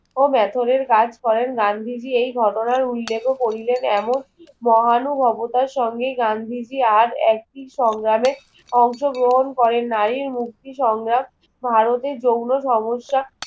মেহরের কাজ করেন গান্ধীজি এই ঘটনার উল্লেখ্য করিলেন এমন মহানুভবতার সঙ্গে গান্ধীজি আর একটি সংগ্রামে অংশগ্রহণ করেন নারীর মুক্তি সংগ্রাম ভারতের যৌন সমস্যা